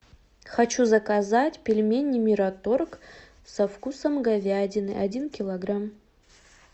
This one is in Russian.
хочу заказать пельмени мираторг со вкусом говядины один килограмм